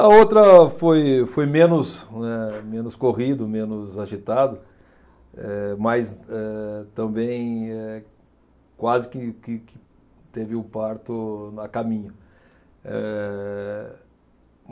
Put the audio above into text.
A outra foi foi menos, né, menos corrido, menos agitado, eh, mas, eh, também, eh, quase que que que teve o parto a caminho, ehh.